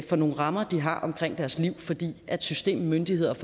for nogle rammer de har omkring deres liv fordi systemet myndighederne